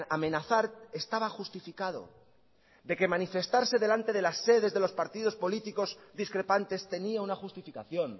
amenazar estaba justificado de que manifestarse delante de las sedes de los partidos políticos discrepantes tenía una justificación